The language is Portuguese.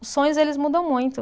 Os sonhos, eles mudam muito.